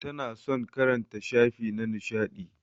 Tana son karanta shafi na nishadi.